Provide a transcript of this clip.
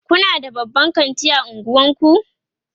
Kuna da babban kanti a unguwanku?